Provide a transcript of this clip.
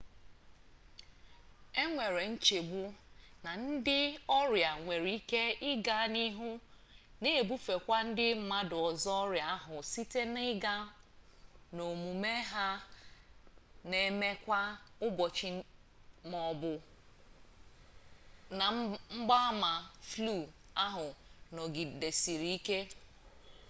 e nwere nchegbu na ndị ọrịa nwere ike ị gaa n'ihu na-ebufekwu ndị mmadụ ọzọ ọrịa ahụ site na ịga n'omume ha na eme kwa ụbọchị ma ọ bụrụ na mgbaama flu ahụ nọgidesie ike